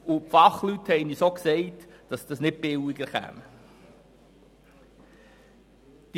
Die Fachleute haben uns auch gesagt, dass dies nicht billiger ausfallen würde.